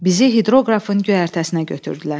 Bizi hidroqrafın göyərtəsinə götürdülər.